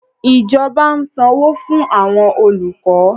Ìjọba ń sanwó fún àwọn olùkọ́